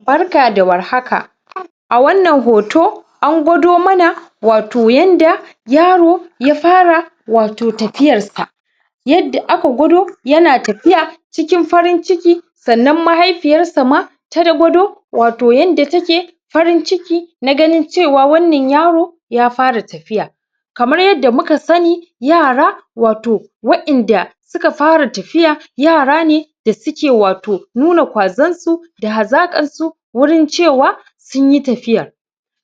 barka da war haka a wannan hoto angwado mana wato yanda yaro ya fara wato tafiyarsa yadda aka gwado yana tafiya cikin farin ciki sannan mahaifiyarsa ma ta gwado wato yadda take farin ciki naganin cewa wannan yaro ya fara tafiya kamar yadda muka sani yara wato wa inda suka fara tafiya yara ne da suke wato nuna ƙwazansu da hazaƙar su wurin cewa sunyi tafiyar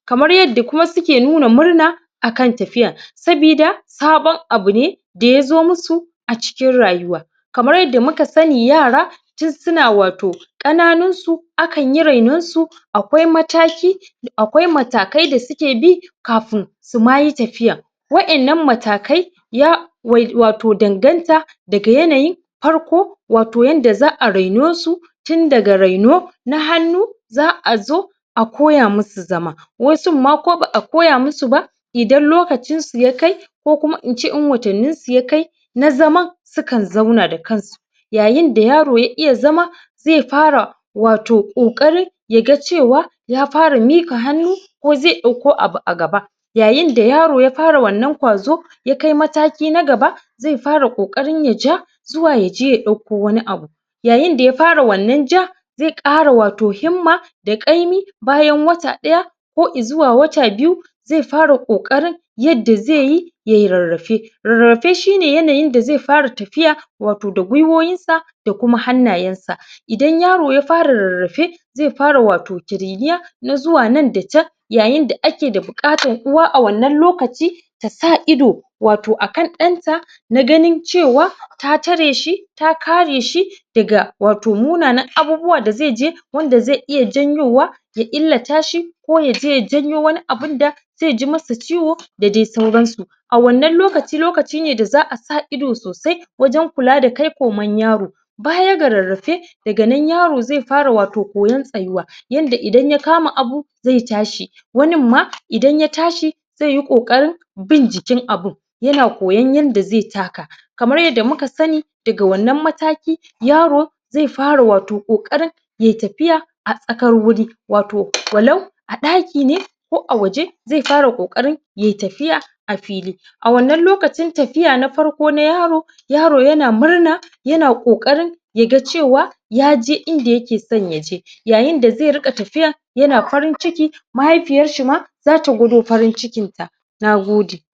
kamar yanda kuma suke nuna murna akan tafiya sabida saban abune da yazo musu a cikin rayuwa kamar yadda muka sani yara tun suna wato ƙananunsu akanyi rainonsu aƙwai matakai da suke bi kafin suma yi tafiyan wa innan matakai ya wato danganta daga yanayin farko wato yanda za a rainosu tun daga raino na hannu za a zo a koya musu zama wasun ma ko ba a koya musu ba idan lokacinsu ya kai ko kuma ince in watanni su yakai na zaman sukan zauna da kansu yayin da yaro ya iya zama zai fara wato ƙoƙarin yaga cewa ya fara miƙa hannu ko zai ɗauko abu a gaba yayin da yaro ya fara wannan ƙwazo ya kai mataki na gaba zai fara ƙoƙarin yaja zuwa yaje ya ɗauko wani abu yayin da ya fara wannan ja zai ƙara wato himma da ƙaimi bayan wata ɗaya ko izuwa wata biyu zai fara ƙoƙarin yadda zaiyi yayi rarrafe rarrafe shine yanayin da zai fara tafiya wato da gwiwoyinsa da kuma hannayansa idan yaro ya fara rarrafe zai fara wato ƙiriniya na zuwa nan da can yayin da ake da buƙatar uwa a wannan lokaci tasa ido wato akan ɗanta na ganin cewa ta tareshi ta kareshi daga wato munanan abubuwa da zai je wanda zai iya janyowa ya illatashi ko yaje ya janyo wani abunda zaiji masa ciwo da dai sauransu a wannan lokaci lokaci ne da za a sa ido sosai wajan kula da kai koman yaro baya ga rarrafe daga nan yaro zai fara wato koyan tsayuwa yanda idan ya kama abu zai tashi wanin ma idan ya tashi zaiyi ƙoƙarin bin jikin abun yana koyan yanda zai taka kamar yanda muka sani daga wannan mataki yaro zai fara wato ƙoƙarin ya tafiya a tsakar wuri wato walau a dakine ko a waje zai fara ƙoƙarin yayi tafiya a fili a wannan lokacin tafiya na farko na yaro yaro yana murna yana ƙoƙarin yaga cewa yaje inda yake san yaje yayin da zai rinƙa tafiya yana farin ciki mahaifiyarshi ma zata gwado farin cikinta nagode